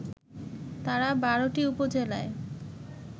তারা ১২টি উপজেলায়